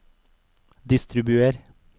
distribuer